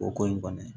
O ko in kɔni